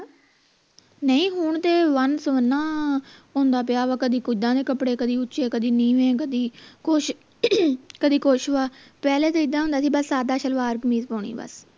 ਨਹੀਂ ਹੁਣ ਤੇ ਵੰਨ ਸੁਵੰਨਾ ਹੁੰਦਾ ਪਿਆ ਵਾ ਕਦੀ ਕਿੱਦਾਂ ਦੇ ਕਪੜੇ ਕਦੀ ਉੱਚੇ ਕਦੀ ਨੀਵੇਂ ਕਦੀ ਕੁਸ਼ ਕਦੀ ਕੁਸ਼ ਵ ਪਹਿਲਾਂ ਤਾਂ ਇੱਦਾਂ ਹੁੰਦਾ ਸੀ ਬਸ ਸਾਦਾ ਸਲਵਾਰ ਕਮੀਜ ਪਾਉਣੀ ਬਸ